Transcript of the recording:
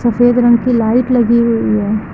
सफेद रंग की लाइट लगी हुई है।